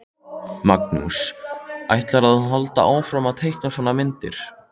Magnús: Ætlarðu að halda áfram að teikna svona myndir?